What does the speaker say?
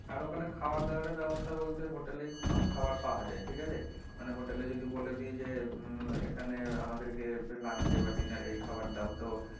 আর ওখানে খাওয়ার দাওয়ার এর ব্যাবস্থা বলতে hotel এই সব খাওয়ার পাওয়া যায় ঠিক আছে মানে hotel এ যদি বলে দেই যে উম এখানে আমাদেরকে lunch এ বা dinner এ খাওয়ার দাও তো,